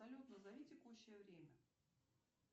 салют назови текущее время